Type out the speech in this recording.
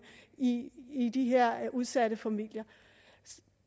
i i de her udsatte familier